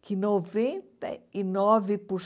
que noventa e nove por